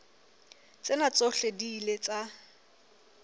tsena tsohle di ile tsa